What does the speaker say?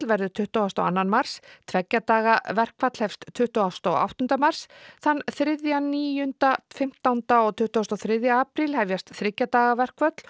verður tuttugasta og annan mars tveggja daga verkfall hefst tuttugasta og áttunda mars þann þriðja níunda fimmtánda og tuttugustu og þriðja apríl hefjast þriggja daga verkföll